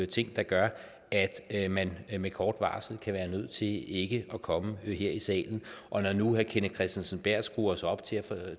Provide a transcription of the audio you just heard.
ting der gør at man med kort varsel kan være nødt til ikke at komme her i salen og når nu herre kenneth kristensen berth skruer sig op til at